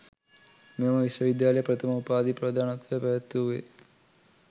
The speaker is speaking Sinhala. මෙම විශ්වවිද්‍යාලයේ ප්‍රථම උපාධි ප්‍රදානෝත්සවය පැවැත්වූයේ